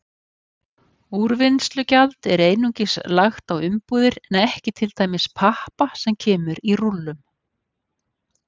Úrvinnslugjald er einungis lagt á umbúðir en ekki til dæmis pappa sem kemur í rúllum.